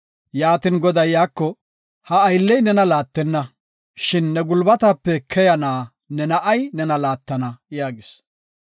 Goday iyako, “Ha aylley nena laattenna, shin ne gulbatape keyana ne na7ay nena laattana” yaagis.